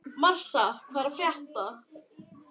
Marsa, hvað er að frétta?